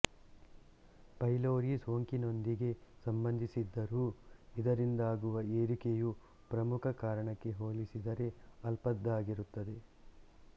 pylori ಸೋಂಕಿನೊಂದಿಗೆ ಸಂಬಂಧಿಸಿದ್ದರೂ ಇದರಿಂದಾಗುವ ಏರಿಕೆಯು ಪ್ರಮುಖ ಕಾರಣಕ್ಕೆ ಹೋಲಿಸಿದರೆ ಅಲ್ಪದ್ದಾಗಿರುತ್ತದೆ